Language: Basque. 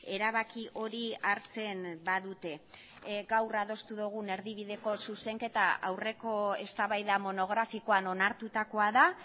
erabaki hori hartzen badute gaur adostu dugun erdibideko zuzenketa aurreko eztabaida monografikoan onartutakoa da